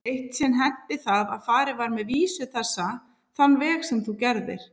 Eitt sinn henti það að farið var með vísu þessa þann veg sem þú gerðir.